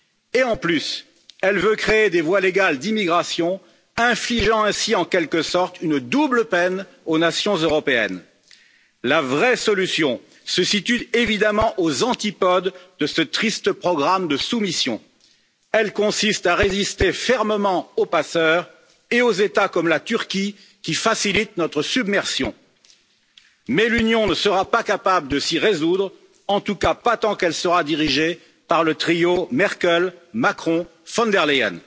Et en plus, elle veut créer des voies légales d'immigration, infligeant ainsi en quelque sorte une double peine aux nations européennes. La vraie solution se situe évidemment aux antipodes de ce triste programme de soumission, elle consiste à résister fermement aux passeurs et aux États, comme la Turquie, qui facilitent notre submersion. Mais l'Union ne sera pas capable de s'y résoudre, en tout cas pas tant qu'elle sera dirigée par le trio Merkel Macron von der Leyen.